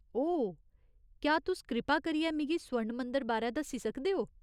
ओह्, क्या तुस कृपा करियै मिगी स्वर्ण मंदर बारै दस्सी सकदे ओ?